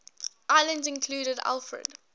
islands included alfred